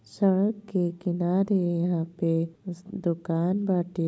सड़क के किनारे यहां पे स् दुकान बाटे।